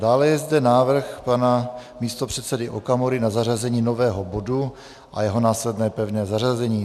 Dále je zde návrh pana místopředsedy Okamury na zařazení nového bodu a jeho následné pevné zařazení.